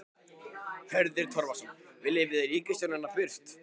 Hörður Torfason: Viljum við ríkisstjórnina burt?